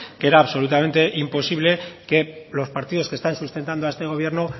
que era absolutamente imposible que los partidos que están sustentando a este gobierno